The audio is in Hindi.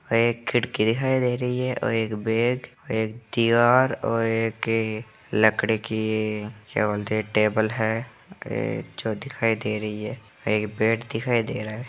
एक खिड़की दिखाई दे रही है और एक बेड एक और एक लकड़े की क्या बोलते हैं टेबल है ए जो दिखाई दे रही है एक बेड दिखाई दे रहा है।